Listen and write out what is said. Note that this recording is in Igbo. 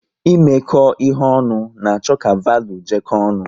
Imeko ihe ọnụ na-achọ ka valuu jeko ọnụ